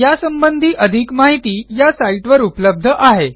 यासंबंधी अधिक माहिती या साईटवर उपलब्ध आहे